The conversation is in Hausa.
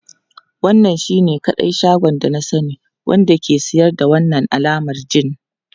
Wannan shine kadai shagon da na sani wanda ke siyar da wannan alamar gin.